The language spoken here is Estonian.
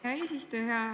Hea eesistuja!